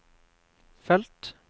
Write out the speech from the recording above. felt